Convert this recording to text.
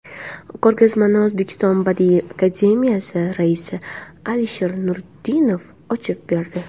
Ko‘rgazmani O‘zbekiston Badiiy akademiyasi raisi A. Nuriddinov ochib berdi.